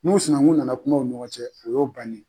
N'u sinankun nana kuma u ni ɲɔgɔn cɛ o y'o bannen ye.